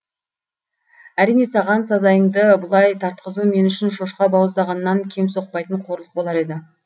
әрине саған сазайыңды бұлай тартқызу мен үшін шошқа бауыздағаннан кем соқпайтын қорлық болар еді